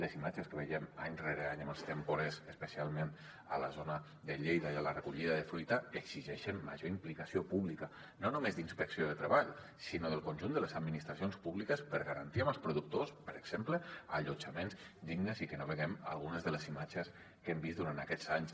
les imatges que veiem any rere any amb els temporers especialment a la zona de lleida i en la recollida de fruita exigeixen major implicació pública no només d’inspecció de treball sinó del conjunt de les administracions públiques per garantir als productors per exemple allotjaments dignes i que no vegem algunes de les imatges que hem vist durant aquests anys